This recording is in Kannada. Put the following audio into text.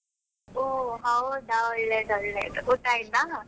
ಓಹ್ ಹೌದಾ ಒಳ್ಳೇದು ಒಳ್ಳೇದು, ಊಟ ಆಯ್ತಾ?